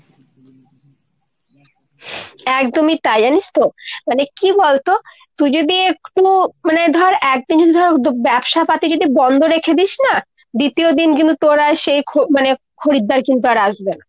একদমই তাই জানিস তো। মানে কী বলতো তুই যদি একটুও মানে ধর একদিনের জন্য ধর ব্যবসাপাতি যদি বন্দ রেখে দিস না দ্বিতীয় দিন কিন্তু তোর আর মানে সেই খরিদ্দার কিন্তু আসবেনা।